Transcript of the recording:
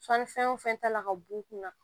Sɔnnifɛn wo fɛn ta la ka b'u kun na